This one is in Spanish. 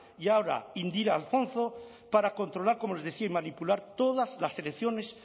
y ahora indira alfonzo para controlar como les decía y manipular todas las elecciones